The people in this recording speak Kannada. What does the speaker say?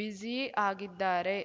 ಬಿಸಿ ಆಗಿದ್ದಾರೆ